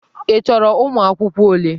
Ị chọrọ ụmụ akwụkwọ ole?